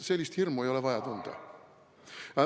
Sellist hirmu ei ole vaja tunda.